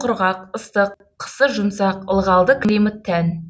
құрғақ ыстық қысы жұмсақ ылғалды климат тән